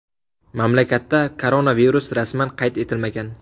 Mamlakatda koronavirus rasman qayd etilmagan.